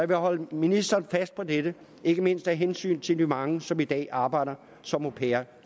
vil holde ministeren fast på dette ikke mindst af hensyn til de mange som i dag arbejder som au pair